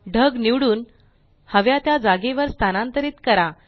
ढग निवडून हव्या त्या जागेवर स्थानांतरीत करा